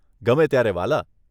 ગમે ત્યારે વ્હાલા.